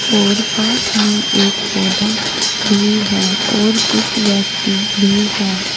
और पास में एक पौधा भी है और कुछ व्यक्ति भी है।